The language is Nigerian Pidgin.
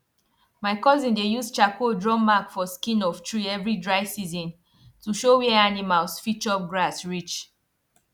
my cousin dey use charcoal draw mark for skin of tree every dry season to show where animals fit chop grass reach